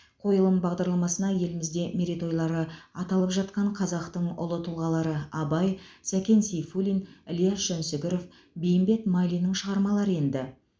қойылым бағдарламасына елімізде мерейтойлары аталып жатқан қазақтың ұлы тұлғалары абай сәкен сейфуллин ілияс жансүгіров бейімбет майлиннің шығармалары енді